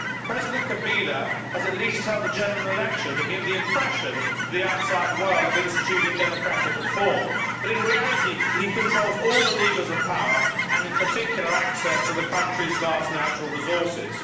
President Kabila has at least held a general election to give the impression to the outside world of instituting democratic reform, but in reality, he controls all the levers of power and, in particular, access to the country's vast natural resources.